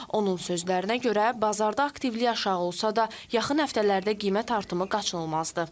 Onun sözlərinə görə bazarda aktivlik aşağı olsa da, yaxın həftələrdə qiymət artımı qaçılmazdır.